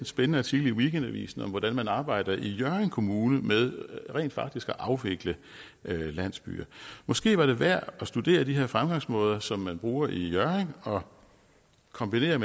spændende artikel i weekendavisen om hvordan man arbejder i hjørring kommune med rent faktisk at afvikle landsbyer måske var det værd at studere de her fremgangsmåder som man bruger i hjørring og kombinere